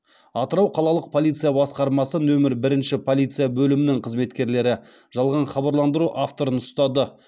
атырау қалалық полиция басқармасы нөмір бірінші полиция бөлімінің қызметкерлері жалған хабарландыру авторын ұстады